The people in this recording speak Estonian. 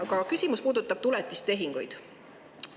Ent küsimus puudutab tuletistehinguid.